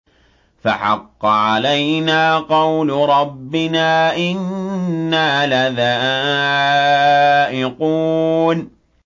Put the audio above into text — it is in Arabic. فَحَقَّ عَلَيْنَا قَوْلُ رَبِّنَا ۖ إِنَّا لَذَائِقُونَ